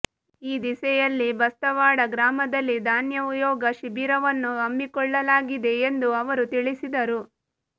ಈ ದಿಸೆಯಲ್ಲಿ ಬಸ್ತವಾಡ ಗ್ರಾಮದಲ್ಲಿ ಧ್ಯಾನಯೋಗ ಶಿಬಿರವನ್ನು ಹಮ್ಮಿಕೊಳ್ಳಲಾಗಿದೆ ಎಂದು ಅವರು ತಿಳಿಸಿದರು